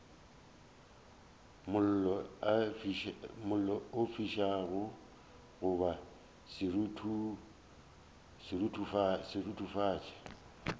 mollo o fišago goba seruthufatši